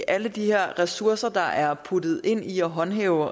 alle de her ressourcer der er puttet ind i at håndhæve